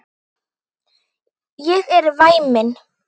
Ég er væmin.